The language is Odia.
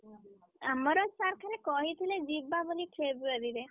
ଆମର sir ଖାଲି କହିଥିଲେ ଯିବା ବୋଲି February ରେ।